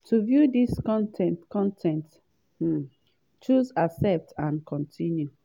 to view dis con ten t con ten t um choose 'accept and continue'.